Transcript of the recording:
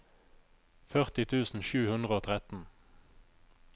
førti tusen sju hundre og tretten